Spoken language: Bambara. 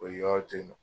O yɔrɔ to yen nɔ